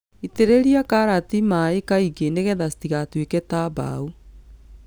ĩtĩrĩria karati maĩ kaingĩ nĩgetha citagatuĩke ta mbao.